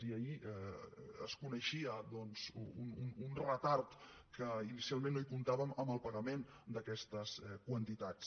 i ahir es coneixia doncs un retard que inicialment no hi comptàvem en el pagament d’aquestes quantitats